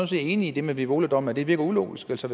set enig i det med bevoladommen det virker ulogisk altså